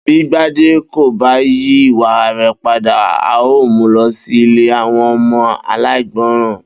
Bí Gbadé kò bá yí ìwà re̩ padà, a óò mu lo̩ sí ilé àwo̩n o̩mo̩ aláìgbo̩ràn